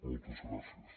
moltes gràcies